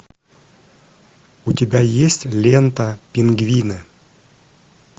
у тебя есть лента пингвины